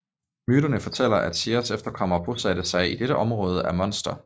Myterne fortæller at Ciars efterkommere bosatte sig i dette område af Munster